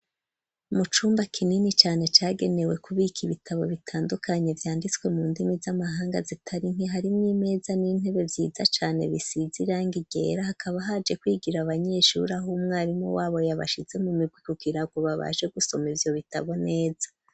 Mu cumba kinini cane cagenewe kubika ibitabo bitandukanye vyanditswe mu ndimi z'amahanga zitarinke hari mw'imeza n'intebe vyiza cane bisize irangi ryera hakaba haje kwigira abanyeshuri aho umwarimu wabo yabashize mu migwi kukirango babaje gusoma ivyo bitabo neza.